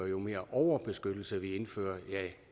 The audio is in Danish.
jo mere overbeskyttelse vi indfører